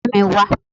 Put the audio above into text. Ọ̀rẹ́ mi, wá!